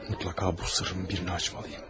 Mütləq bu sirrimi birinə açmalıyam.